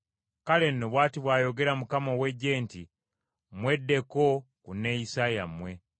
Kale nno bw’ati bw’ayogera Mukama ow’Eggye nti, “Mweddeko ku neeyisa yammwe.